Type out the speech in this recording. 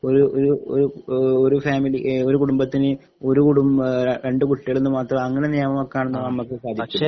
ഒരു ഒരു ഒരു ഒരു ഫാമിലി ഒരു കുടുംബത്തിന് ഒരുകുടുംബ രണ്ടുകുട്ടികളെന്നുമാത്രം അങ്ങനെ നിയമം വെക്കാനൊന്നും നമുക്ക് സാധിക്കില്ല